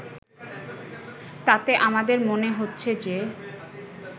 তাতে আমাদের মনে হচ্ছে যে